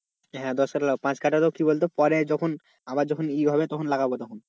হ্যাঁ দশ কাঠা লাগাবো পাঁচ কাঠা তো কি বলতো পরে যখন আবার যখন ই হবে তখন লাগাবো তখন,